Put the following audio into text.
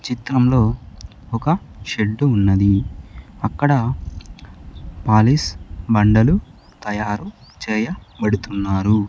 చిత్రంలో ఒక షెడ్ ఉన్నది అక్కడ పాలిష్ బండలు తయారు చేయబడుతున్నారు.